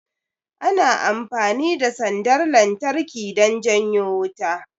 Ana amfani da sandar lantarki don janyo wuta